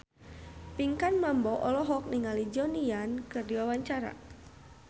Pinkan Mambo olohok ningali Donnie Yan keur diwawancara